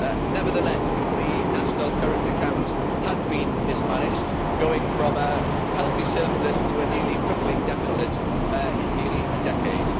Nevertheless, the national current account has been mismanaged, going from a healthy surplus to a nearly crippling deficit in merely a decade.